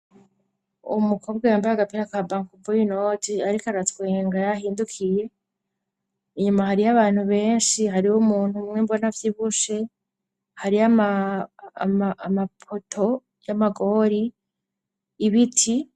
Uwu mukobwa yambaye agapira ka bankuboyi noji, ariko aratswenga yahindukiye inyuma hari yo abantu benshi hari ho umuntu umwe mbona vy'ibushe hari yo amapoto y'amagori ibiti.